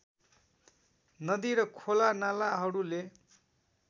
नदी र खोलानालाहरूले